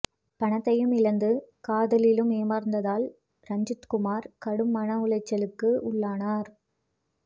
பணத்தையும் இழந்து காதலிலும் ஏமாந்ததால் ரஞ்சித்குமார் கடும் மன உளைச்சலுக்கு உள்ளானார்